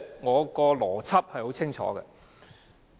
我的邏輯是很清楚的。